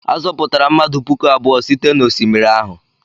A zọpụtara mmadụ puku abụọ site n'osimiri ahụ.